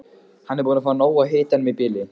Hann er búinn að fá nóg af hitanum í bili.